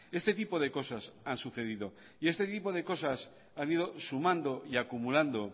este tipo de cosas han sucedido y este tipo de cosas han ido sumando y acumulando